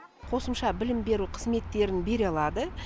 қосымша білім беру қызметтерін бере алады